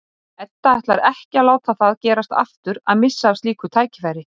Edda ætlar ekki að láta það gerast aftur að missa af slíku tækifæri.